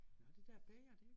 Nåh det der bag os det